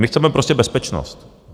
My chceme prostě bezpečnost.